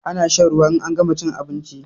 Ana shan ruwa in an gama chin abinchi